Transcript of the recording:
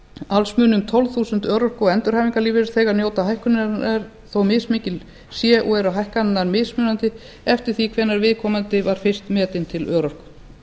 alls munu um tólf þúsund örorku og endurhæfingarlífeyrisþegar njóta hækkunarinnar þó mismikil sé og eru hækkanirnar mismunandi eftir því hvenær viðkomandi var fyrst metinn til örorku